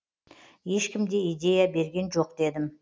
ешкім де идея берген жоқ дедім